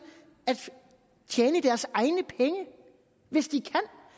at tjene deres egne penge hvis de